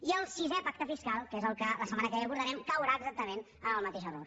i el sisè pacte fiscal que és el que la setmana que ve abordarem caurà exactament en el mateix error